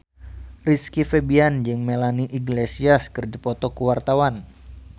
Rizky Febian jeung Melanie Iglesias keur dipoto ku wartawan